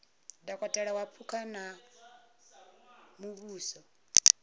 dokotela wa phukha wa muvhuso